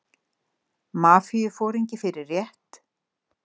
Mafíuforingi fyrir rétt